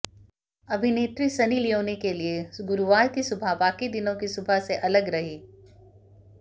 अभिनेत्री Sunny Leone के लिए गुरुवार की सुबह बाकी दिनों की सुबह से अलग रही